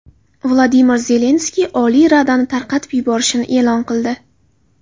Vladimir Zelenskiy Oliy radani tarqatib yuborishini e’lon qildi.